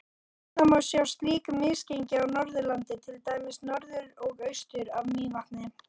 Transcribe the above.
Víða má sjá slík misgengi á Norðurlandi, til dæmis norður og austur af Mývatni.